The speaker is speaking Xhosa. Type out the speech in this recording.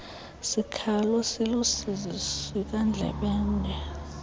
sikhalo siluusizi sikandlebende